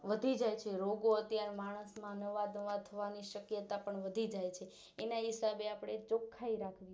વધી જાય છે રોગો અત્યારે માણસ માં નવા નવા થવાની શક્યતા પણ વધી જાય છે એના એ હિસાબે આપણે ચોખ્ખાઈરાખવી